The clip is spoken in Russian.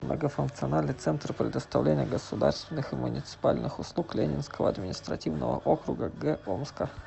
многофункциональный центр предоставления государственных и муниципальных услуг ленинского административного округа г омска